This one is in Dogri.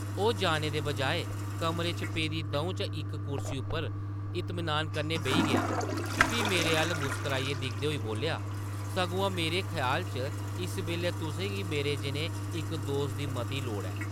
ओह् जाने दे बजाए, कमरे च पेदी दʼऊं चा इक कुर्सी उप्पर इतमिनान कन्नै बेही गेआ, फ्ही मेरे अʼल्ल मुस्कराइयै दिखदे होई बोल्लेआ, ‘‘सगोआं मेरे ख्याल च इस बेल्लै तुसें गी मेरे जनेह् इक दोस्त दी मती लोड़ ऐ ।’’